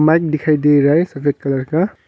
दिखाई दे रहा है सफेद कलर का।